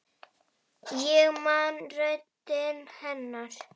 Ég man röddina hennar.